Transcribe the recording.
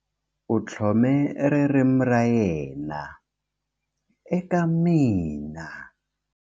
U tlhome ririmi ra yena eka mina.